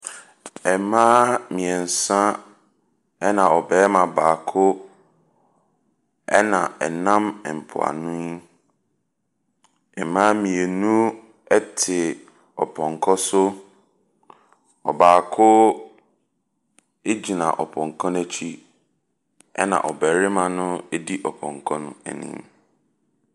Mmaa mmiɛnsa ɛna barima baako ɛna ɛnam mpo ano yi. Mmaa mmienu ɛte ɔpɔnkɔ so, ɔbaako egyina ɔpɔnkɔ no akyi ɛna ɔbarima no edi ɔpɔnkɔ no anim.